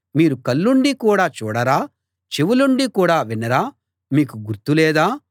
మీరు కళ్ళుండి కూడా చూడరా చెవులుండి కూడా వినరా మీకు గుర్తు లేదా